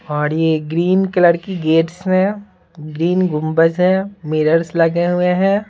और यह green colour की गेट्स हैं ग्रीन गुंबज है मिरर्स लगे हुए हैं।